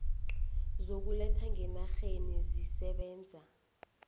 zokuletha ngenarheni zisebenza